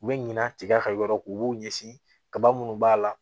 U bɛ ɲina tiga ka yɔrɔ ko b'u ɲɛsin kaba minnu b'a la